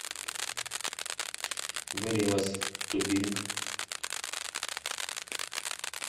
гориллаз ту бинг